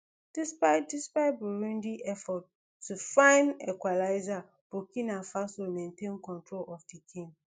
despite despite burundi efforts to find equalizer burkina faso maintain control of di game